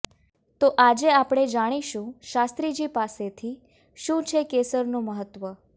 તો આજે આપણે જાણીશું શાસ્ત્રીજી પાસેથી શું છે કેસરનું મહત્વ